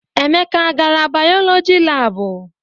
Emeka a gara bayọlọjị laabụ?